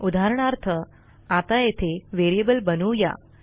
उदाहरणार्थ आता येथे व्हेरिएबल बनवू या